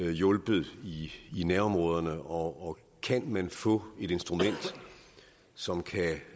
hjulpet i nærområderne og kan man få et instrument som